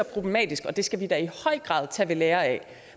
problematisk og det skal vi da i høj grad tage ved lære af